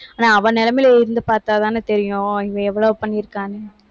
ஆனா, அவ நிலைமையில இருந்து பார்த்தாதானே தெரியும். இவன் எவ்வளவு பண்ணியிருக்கான்னு